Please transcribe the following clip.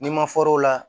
N'i ma fɔr'o la